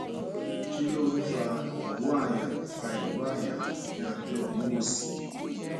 kí ló ń fa ìró àyà fa ìró àyà ní abẹ omu òsì